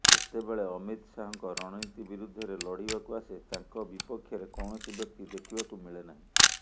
ଯେତେବେଳେ ଅମିତ ଶାହାଙ୍କ ରଣନୀତି ବିରୁଦ୍ଧରେ ଲଢ଼ିବାକୁ ଆସେ ତାଙ୍କ ବିପକ୍ଷରେ କୌଣସି ବ୍ୟକ୍ତି ଦେଖିବାକୁ ମିଳେ ନାହିଁ